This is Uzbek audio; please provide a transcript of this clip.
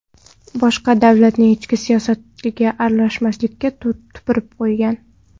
Boshqa davlatning ichki siyosatiga aralashmaslikka tupurib qo‘ygan.